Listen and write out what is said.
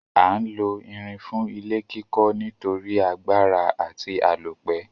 A n lo irin fún ilé kíkó nítorí agbára àti àlópẹ́